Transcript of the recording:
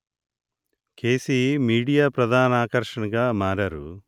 కెసీ media ప్రధాన ఆకర్షణగా మారారు